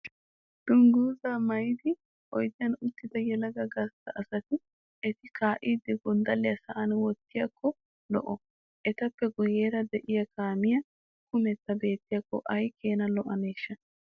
Dungguzzaa maayidi oyidiyaan uttida yelaga gastta asati utti kaa'iiddi gonddalliyaa sa'an wottidaakko lo'o. Etappe guyyeera de'iyaa kaamiyaa kumetta beettiyaakko ayi keena lo'aneeshsha.